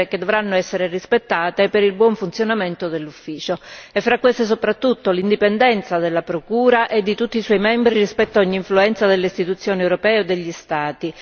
dovranno essere rispettate per il buon funzionamento dell'Ufficio e fra queste soprattutto l'indipendenza della procura e di tutti i suoi membri rispetto a ogni influenza delle Istituzioni europee o degli Stati